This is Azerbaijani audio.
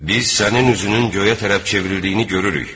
Biz sənin üzünün göyə tərəf çevrildiyini görürük.